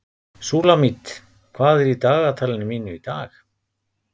Súlamít, hvað er í dagatalinu mínu í dag?